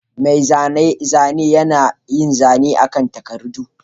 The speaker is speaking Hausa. Mai zanen zane yana yin zane akan takardu